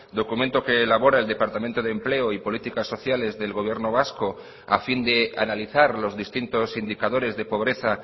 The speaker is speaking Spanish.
documento que elabora el departamento de empleo y políticas sociales del gobierno vasco a fin de analizar los distintos indicadores de pobreza